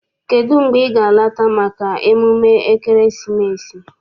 Kedụ mgbe ị ga- alata maka emume ekeresimesi?